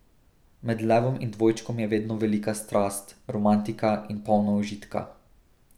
Med levom in dvojčkom je vedno velika strast, romantika in polno užitka.